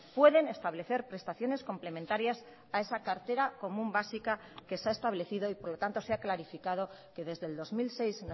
pueden establecer prestaciones complementarias a esa cartera común básica que se ha establecido y por lo tanto se ha clarificado que desde el dos mil seis